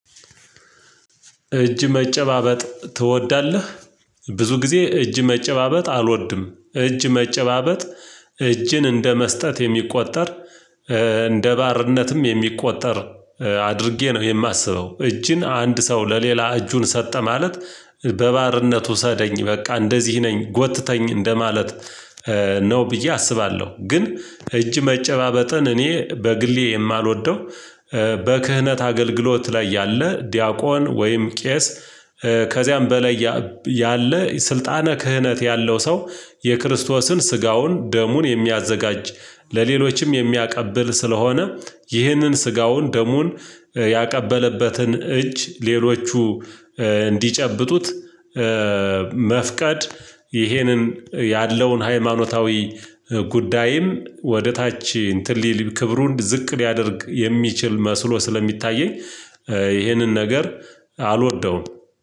እጅ መጨባበጥ ትወዳለህ? ብዙ ጊዜ እጅ መጨባበጥ አልወድም እጅ መጨባበጥ እጅን እንደ መስጠት የሚቆጠር እንደ ባርነትም የሚቆጠር አድርጌ ነው የማስበው። እጅን አንድ ሰው ለሌላ እጁን ሰጠ ማለት በባርነት ውሰደኝ በቃ እንደዚህ ነኝ ጎትተኝ እንደማለት ነው ብዬ አስባለሁ። ግን እጅ መጨባበጥን እኔ በግሌ የማልወደው። በክህነት አገልግሎት ላይ ያለ ዲያቆን ወይም ቄስ ከዚያም በላይ ያለ ስልጣነ ክህነት ያለው ሰው የክርስቶስን ስጋውን ደሙን የሚያዘጋጅ ለሌሎችም የሚያቀብል ስለሆነ ይህንን ስጋውን ደሙን ያቀበለበትን እጅ ሌሎቹ እንዲጨብጡት መፍቀድ ይሄንን ያለውን ሃይማኖታዊ ጉዳይን ወደ ታች እንትን ሊል ክብሩን ዝቅ ሊያደርግ የሚችል መስሎ ስለሚታየኝ። ይሄንን ነገር አልወደውም።